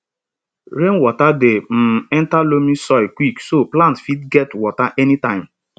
rainwater dey um enter loamy soil quick so plant fit get water anytime